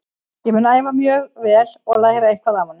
Ég mun æfa mjög vel og læra eitthvað af honum.